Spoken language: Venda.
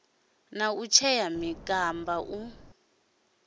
na u tshea mikumba u